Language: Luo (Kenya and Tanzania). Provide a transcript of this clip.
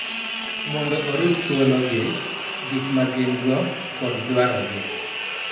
Mondo orit thuologi, gik ma gin-go, kod dwarogi.